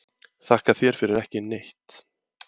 Þakka þér fyrir ekki neitt